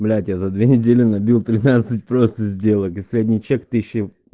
блять я за две недели набил тринадцать просто сделок и средний чек тысяча